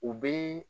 U bɛ